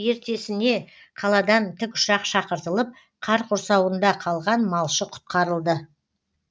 ертесіне қаладан тікұшақ шақыртылып қар құрсауында қалған малшы құтқарылды